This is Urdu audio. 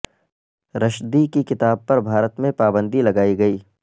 رشدی کی کتاب پر بھارت میں پابندی لگائی گئی